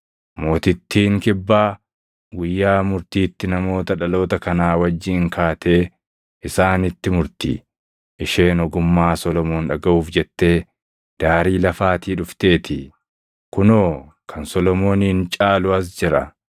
Mootittiin kibbaa guyyaa murtiitti namoota dhaloota kanaa wajjin kaatee isaanitti murti; isheen ogummaa Solomoon dhagaʼuuf jettee daarii lafaatii dhufteetii. Kunoo kan Solomoonin caalu as jira.